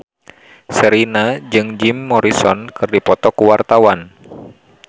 Sherina jeung Jim Morrison keur dipoto ku wartawan